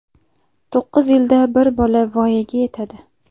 To‘qqiz yilda bir bola voyaga yetadi.